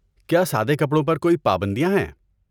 کیا سادے کپڑوں پر کوئی پابندیاں ہیں؟